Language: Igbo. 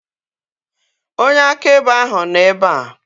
Onye akaebe ahu nọ ebea